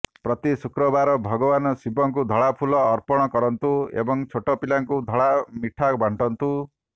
ପ୍ରତି ଶୁକ୍ରବାର ଭଗବାନ ଶିବଙ୍କୁ ଧଳା ଫୁଲ ଅର୍ପଣ କରନ୍ତୁ ଏବଂ ଛୋଟ ପିଲାଙ୍କୁ ଧଳା ମିଠା ବାଣ୍ଟନ୍ତୁ